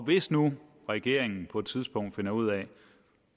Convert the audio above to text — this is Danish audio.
hvis nu regeringen på et tidspunkt finder ud af